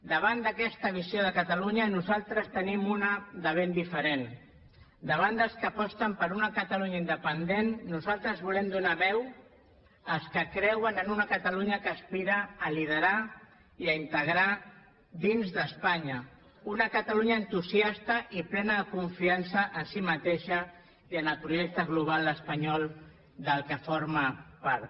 davant d’aquesta visió de catalunya nosaltres en tenim una de ben diferent davant dels que aposten per una catalunya independent nosaltres volem donar veu als que creuen en una catalunya que aspira a liderar i a integrar dins d’espanya una catalunya entusiasta i plena de confiança en si mateixa i en el projecte global espanyol del qual forma part